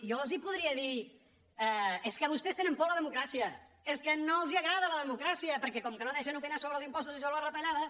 jo els podria dir és que vostès tenen por de la democràcia és que no els agrada la democràcia perquè com que no deixen opinar sobre els impostos ni sobre les retallades